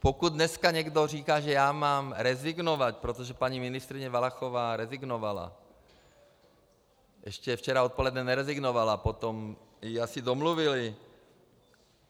Pokud dneska někdo říká, že já mám rezignovat, protože paní ministryně Valachová rezignovala - ještě včera odpoledne nerezignovala, potom jí asi domluvili.